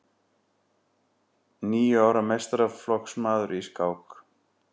Níu ára meistaraflokksmaður í skák